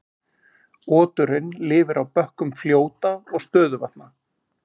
Oturinn lifir á bökkum fljóta og stöðuvatna.